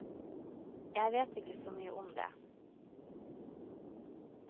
Jeg vet ikke så mye om det.